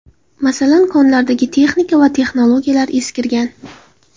Masalan, konlardagi texnika va texnologiyalar eskirgan.